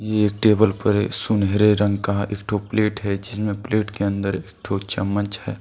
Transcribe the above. ये टेबल पर एक सुनहरे रंग का एक ठो प्लेट है जिसमें प्लेट के अन्दर एक ठो चम्मच हैं।